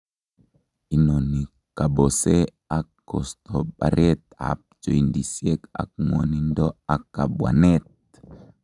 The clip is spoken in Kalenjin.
Inoni kobose ak kosto bareet ab joindisiek ak ng'wonindo ak kabwaneet